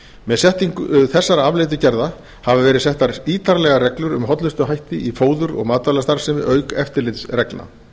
með setningu þessara afleiddu gerða hafa verið settar ítarlega reglur um hollustuhætti í fóður og matvælastarfsemi auk eftirlitsreglna